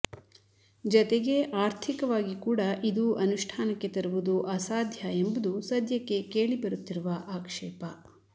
ಜತೆಗೆ ಆರ್ಥಿಕವಾಗಿ ಕೂಡ ಇದು ಅನುಷ್ಠಾನಕ್ಕೆ ತರುವುದು ಅಸಾಧ್ಯ ಎಂಬುದು ಸದ್ಯಕ್ಕೆ ಕೇಳಿಬರುತ್ತಿರುವ ಆಕ್ಷೇಪ